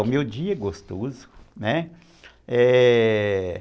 O meu dia é gostoso, né? É...